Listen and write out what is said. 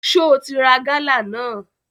Só o ti ra gálà náà?